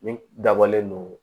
Min dabɔlen don